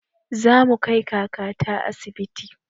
Zamu kai kakata asibiti